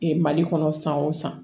mali kɔnɔ san o san